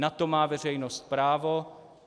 Na to má veřejnost právo.